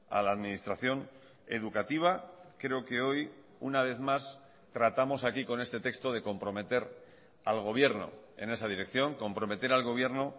a la administración educativa creo que hoy una vez más tratamos aquí con este texto de comprometer al gobierno en esa dirección comprometer al gobierno